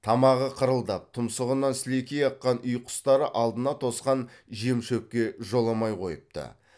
тамағы қырылдап тұмсығынан сілекейі аққан үй құстары алдына тосқан жем шөпке жоламай қойыпты